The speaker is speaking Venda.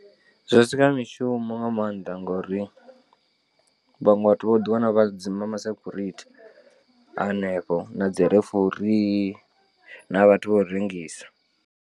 Zwi a sika mishumo nga maanḓa ngori vhaṅwe vhathu vho ḓiwana vha dzima ma security a hanefho na dzi referee na vhathu vho rengisa.